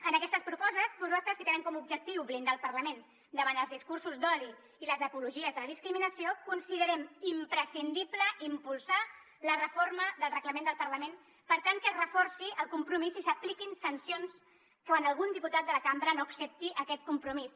en aquestes propostes que tenen com a objectiu blindar el parlament davant els discursos d’odi i les apologies de la discriminació considerem imprescindible impulsar la reforma del reglament del parlament per tal que es reforci el compromís i s’apliquin sancions quan algun diputat de la cambra no accepti aquest compromís